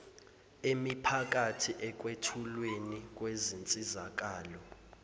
emiphakathi ekwethulweni kwensizakalo